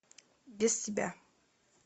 без тебя